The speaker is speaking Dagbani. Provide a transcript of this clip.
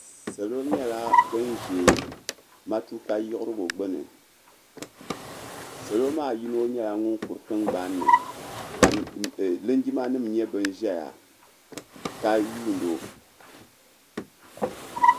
Salo nyɛla ban ʒe matuka yiɣirigu gbuni salo maa yino nyɛla ŋun kuri tingbani ni ka linjimanima nyɛ ban ʒeya ka yuuni o.